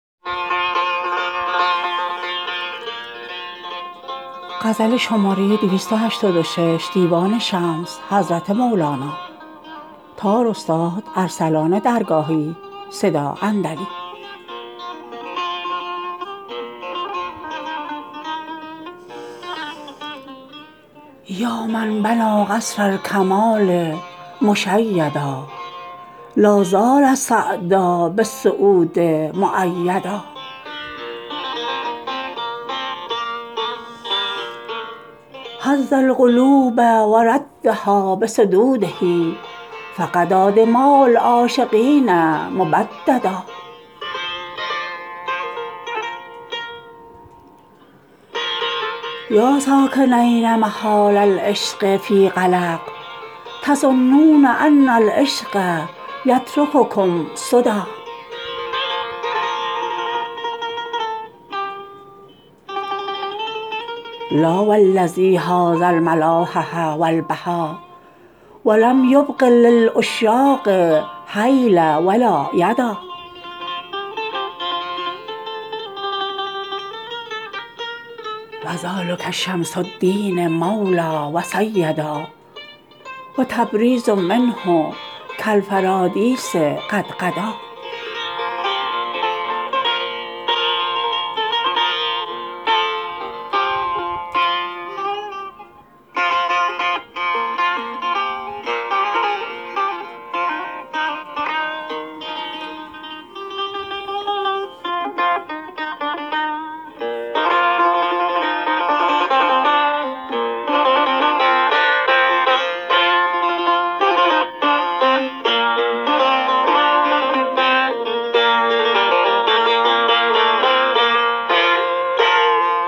یا من بنا قصر الکمال مشیدا لا زال سعدا بالسعود مؤیدا هز القلوب و ردها بصدوده فغدا دماء العاشقین مبددا یا ساکنین محال العشق فی قلق تظنون ان العشق یترککم سدا لا و الذی حاز الملاحه و البها و لم یبق للعشاق حیلا و لا یدا و ذلک شمس الدین مولا و سیدا و تبریز منه کالفرادیس قد غدا